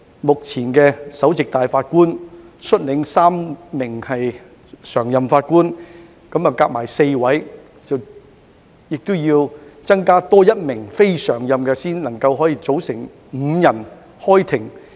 目前，由首席法官率領3名常任法官，一共4人，再另加1名非常任法官才能夠組成5人開庭。